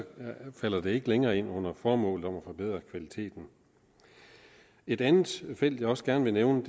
falder det ikke længere ind under formålet om at forbedre kvaliteten et andet felt jeg også gerne vil nævne